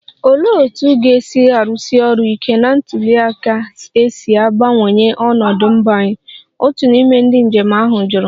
Olee otú ga-esi arụsi ọrụ ike na ntuli aka ga-esi gbanwee ọnọdụ mba anyị? otu n'ime ndị njem ahụ jụrụ